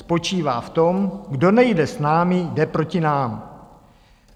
Spočívá v tom: kdo nejde s námi, jde proti nám.